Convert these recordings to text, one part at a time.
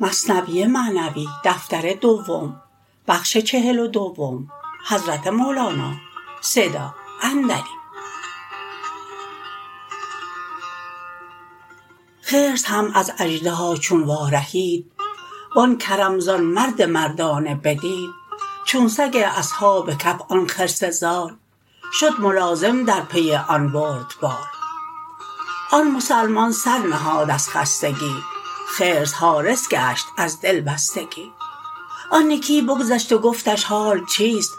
خرس هم از اژدها چون وا رهید وآن کرم زان مرد مردانه بدید چون سگ اصحاب کهف آن خرس زار شد ملازم در پی آن بردبار آن مسلمان سر نهاد از خستگی خرس حارس گشت از دل بستگی آن یکی بگذشت و گفتش حال چیست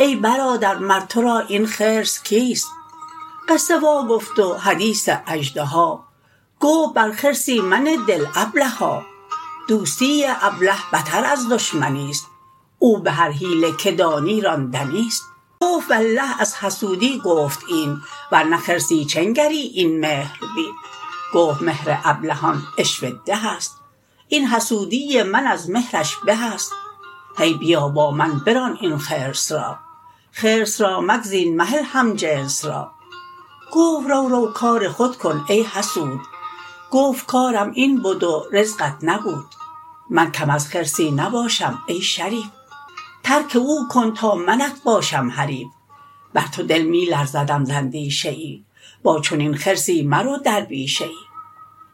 ای برادر مر ترا این خرس کیست قصه وا گفت و حدیث اژدها گفت بر خرسی منه دل ابلها دوستی ابله بتر از دشمنیست او بهر حیله که دانی راندنیست گفت والله از حسودی گفت این ورنه خرسی چه نگری این مهر بین گفت مهر ابلهان عشوه ده است این حسودی من از مهرش به است هی بیا با من بران این خرس را خرس را مگزین مهل هم جنس را گفت رو رو کار خود کن ای حسود گفت کارم این بد و رزقت نبود من کم از خرسی نباشم ای شریف ترک او کن تا منت باشم حریف بر تو دل می لرزدم ز اندیشه ای با چنین خرسی مرو در بیشه ای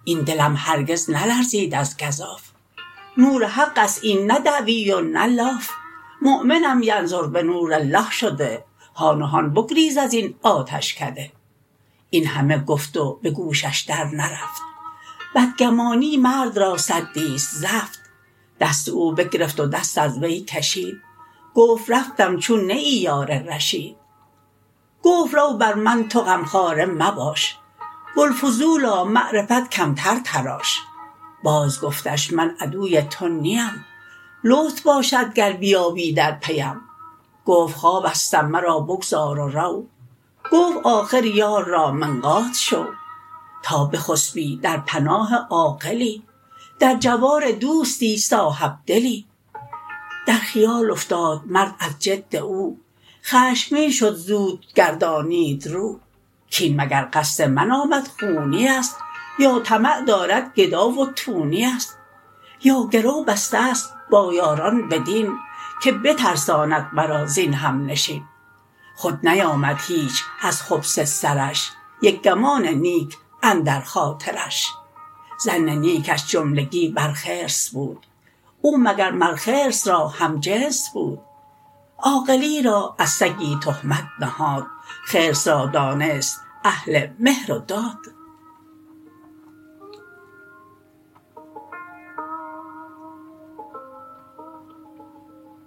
این دلم هرگز نلرزید از گزاف نور حقست این نه دعوی و نه لاف مؤمنم ینظر بنور الله شده هان و هان بگریز ازین آتشکده این همه گفت و به گوشش در نرفت بدگمانی مرد سدیست زفت دست او بگرفت و دست از وی کشید گفت رفتم چون نه ای یار رشید گفت رو بر من تو غمخواره مباش بوالفضولا معرفت کمتر تراش باز گفتش من عدوی تو نیم لطف باشد گر بیابی در پیم گفت خوابستم مرا بگذار و رو گفت آخر یار را منقاد شو تا بخسپی در پناه عاقلی در جوار دوستی صاحب دلی در خیال افتاد مرد از جد او خشمگین شد زود گردانید رو کین مگر قصد من آمد خونیست یا طمع دارد گدا و تونیست یا گرو بستست با یاران بدین که بترساند مرا زین همنشین خود نیامد هیچ از خبث سرش یک گمان نیک اندر خاطرش ظن نیکش جملگی بر خرس بود او مگر مر خرس را هم جنس بود عاقلی را از سگی تهمت نهاد خرس را دانست اهل مهر و داد